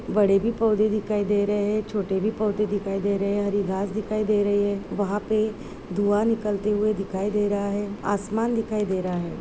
बड़े भी पौधे दिखाई दे रहे हैं छोटे भी पौधे दिखाई दे रहे हैं हरी घास दिखाई दे रही है वहां पे धुआँ निकलते हुए दिखाई दे रहा है आसमान दिखाई दे रहा है।